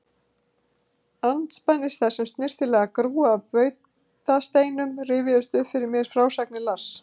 Andspænis þessum snyrtilega grúa af bautasteinum rifjuðust upp fyrir mér frásagnir Lars